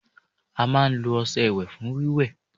a máa n lo ọṣẹ iwe fún wíwẹ́